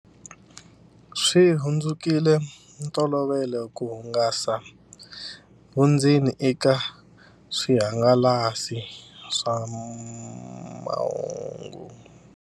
Swi hundzukile ntolovelo ku hangalasa vundzeni eka swihangalasamahungu.